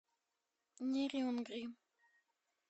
нерюнгри